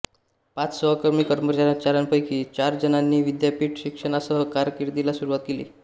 पाच सहकर्मी कर्मचाऱ्यांपैकी चार जणांनी विद्यापीठ शिक्षणासह कारकिर्दीला सुरुवात केली